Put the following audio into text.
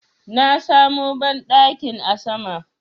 Na samu banɗakin a sama